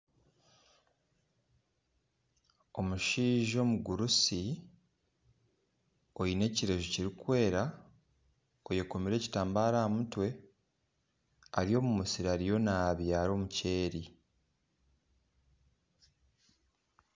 Omushaija omugurusi oine ekireju kirikwera oyekomire ekitambaara aha mutwe Ari omu musiri ariyo nabyara omukyeri